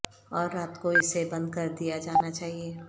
اور رات کو اسے بند کر دیا جانا چاہئے